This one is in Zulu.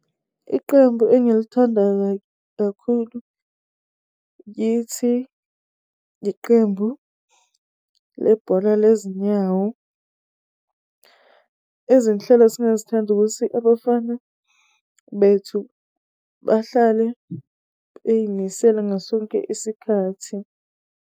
Iqembu engilithanda kakhulu kithi, iqembu lebhola lezinyawo. Izinhlelo singazithanda ukuthi abafana bethu bahlale beyimisela ngasonke isikathi.